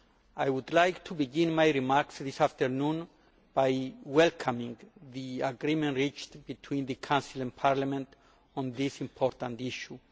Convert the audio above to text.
I would like to begin my remarks this afternoon by welcoming the agreement reached between the Council and Parliament on this important issue.